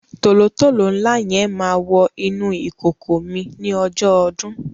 tòlótòló ńlá yẹn máa wọ inú ìkòkò mi ní ọjọ́ ọdún.